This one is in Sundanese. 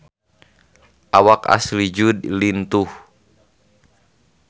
Awak Ashley Judd lintuh